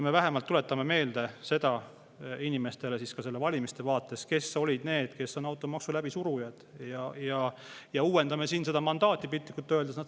Me vähemalt tuletame meelde inimestele ka selle valimiste vaates, kes olid need, kes automaksu läbi surusid, ja piltlikult öeldes uuendame siin seda mandaati.